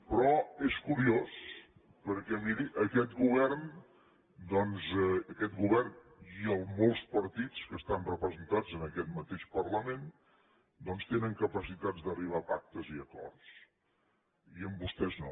però és curiós perquè miri aquest govern doncs aquest govern i molts partits que estan representants en aquest mateix parlament tenen capacitat d’arribar a pactes i acords i amb vostès no